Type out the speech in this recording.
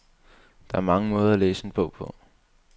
Der er mange måder at læse en bog på.